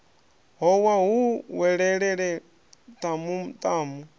howa hu welelele tamu tamu